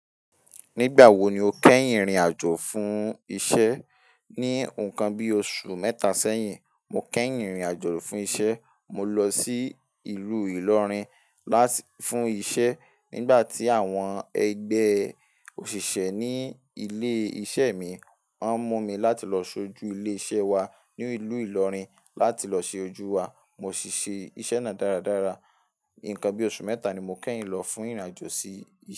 Nígbà wo ni o kẹ́yìn rìnrìn àjò fún isẹ́? Ní nǹkan bí oṣù mẹ́ta sẹ́yìn, mo kẹ́yìn rìnrìn àjò fún isẹ́. Mo lọ sí ìlú Ìlọrin lá-- fún iṣẹ́ nígbà tí àwọn ẹgbẹ́ òṣìṣẹ́ ní ilé iṣẹ́ mi máa ń mú mi láti lọ sójú ilé iṣẹ́ wa ní ìlú Ìlọrin láti lọ ṣe ojú wa. Mo sì ṣe iṣẹ́ náà dáradára. Ǹkan bí oṣù mẹ́ta ni mo kẹ́yìn lọ fún ìrìn àjò sí.